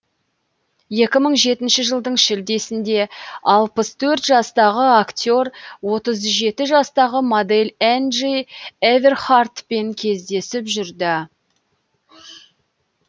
екі мың жетінші жылдың шілдесінде алпыс төрт жастағы актер отыз жеті жастағы модель энджи эверхартпен кездесіп жүрді